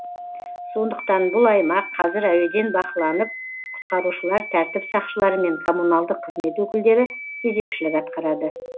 сондықтан бұл аймақ қазір әуеден бақыланып құтқарушылар тәртіп сақшылары мен коммуналдық қызмет өкілдері кезекшілік атқарады